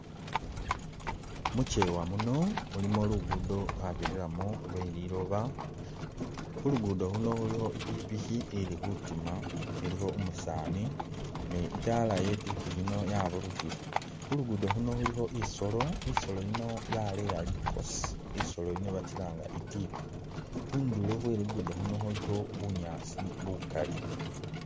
Muchewa muno mulimo luguddo lwabirilamo lweliloba, khulugudo khuno khulikho ipikipiki ili khutima ilikho umusani ne'itala yekhupikipiki khuno yaburukhile khulugudo khuno khulikho isoolo, isoolo yiino yaleya likosi isoolo yiino bakilanga bari itika, khundulo khwe luguddo luuno khulikho bunyaasi bukaali